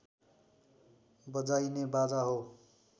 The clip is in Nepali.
बजाइने बाजा हो